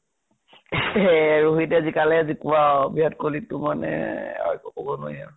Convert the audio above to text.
ৰহিতে জিকালেহে জিকোৱা আৰু। বিৰাত কহলি টো মানে আৰু একো কব নোৱাৰি আৰু।